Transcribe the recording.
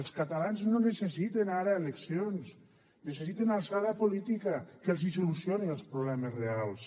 els catalans no necessiten ara eleccions necessiten alçada política que els solucioni els problemes reals